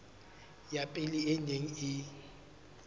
ya pele e neng e